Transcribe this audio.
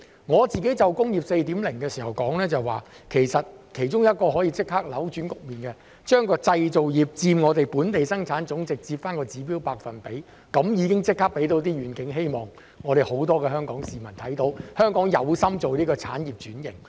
我自己就"工業 4.0" 發言時曾說道，其中一種可以立即扭轉局面的做法，是為製造業佔本地生產總值設立指標百分比，這便立即可以讓香港市民看到願景和希望，並知道香港有心進行產業轉型。